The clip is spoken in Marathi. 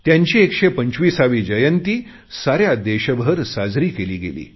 त्यांची एकशेपंचवीसावी जयंती साऱ्या देशभर साजरी केली गेली